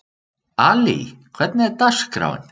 Ali, hvernig er dagskráin?